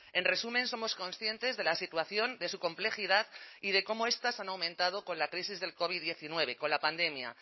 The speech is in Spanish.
en resumen somos conscientes de la situación de su complejidad y de cómo estas han aumentado con la crisis del covid diecinueve con la pandemia